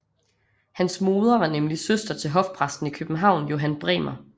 Hans moder var nemlig søster til hofpræsten i København Johan Bremer